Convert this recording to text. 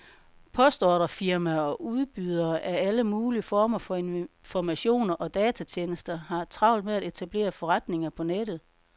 Postordrefirmaer og udbydere af alle mulige former for informationer og datatjenester har travlt med at etablere forretninger på nettet.